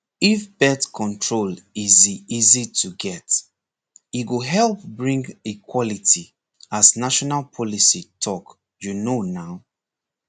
if birth control easy easy to get e go help bring equality as national policy talk you know na